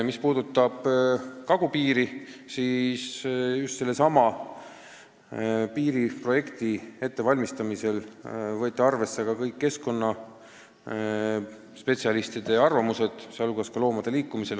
Mis puudutab kagupiiri, siis piiriprojekti ettevalmistamisel võeti arvesse ka kõik keskkonnaspetsialistide arvamused.